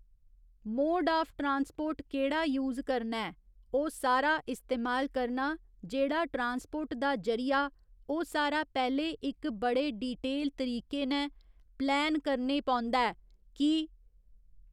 mode of transport केह्ड़ा use करना ऐ ओह् सारा इस्तेमाल करना जेह्ड़ा ट्रांसपोर्ट दा जरिआ ओह् सारा पैहले इक बड़े ड़िटेल तरीके नै पलैन करने पौंदा ऐ कि